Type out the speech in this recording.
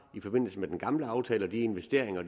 i forbindelse med den gamle aftale og de investeringer